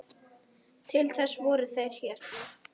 Til þess voru þeir hérna.